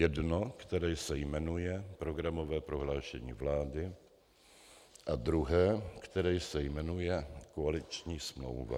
Jedno, které se jmenuje programové prohlášení vlády, a druhé, které se jmenuje koaliční smlouva.